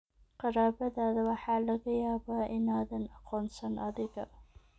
Qaraabadaada waxaa laga yaabaa inaadan aqoonsan adiga